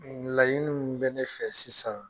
Layini mun bɛ ne fɛ sisan